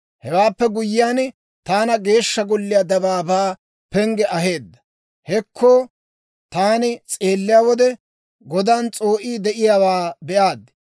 Hewaappe guyyiyaan, taana Geeshsha Golliyaa dabaabaa pengge aheedda; hekko taani s'eelliyaa wode, godan s'oo'ii de'iyaawaa be'aad.